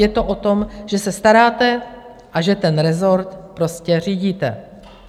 Je to o tom, že se staráte a že ten rezort prostě řídíte.